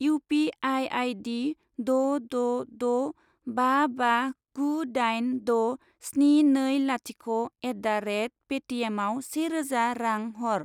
U पि आइ आइ दि द' द' द' बा बा गु दाइन द' स्नि नै लाथिख' एट दा रेट पे टि एमआव से रोजा रां हर।